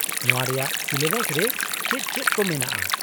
-ᱱᱚᱶᱟ ᱨᱮᱭᱟᱜ ᱥᱤᱞᱮᱵᱟᱥ ᱨᱮ ᱪᱮᱫ ᱪᱮᱫ ᱠᱚ ᱢᱮᱱᱟᱜᱼᱟ ?